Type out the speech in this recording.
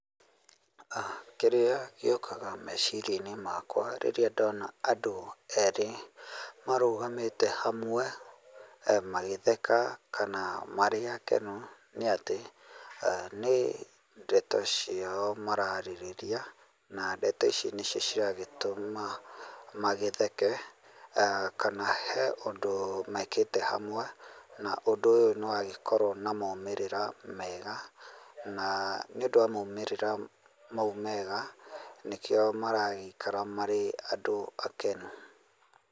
Kĩrĩa gĩũkaga meciria-inĩ makwa rĩrĩa ndoona andũ erĩ marũgamĩte hamwe, magĩtheka kana marĩ akenu nĩ atĩ, nĩ ndeto ciao maraarĩrĩria, na ndeto ici nĩcio ciagĩtũma magĩtheke, kana he ũndũ mekĩte hamwe, na ũndũ ũyũ nĩ wagĩkorũo na maumĩrĩra mega, na nĩ ũndũ wa maũmĩrĩra mau mega, nĩkĩo maragĩĩkara marĩ andũ akenu.